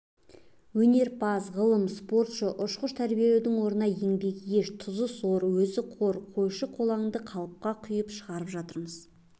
өнерпаз ғалым спортшы ұшқыш тәрбиелеудің орнына еңбегі еш тұзы сор өзі қор қойшы-қолаңды қалыпқа құйып шығарып жатырмыз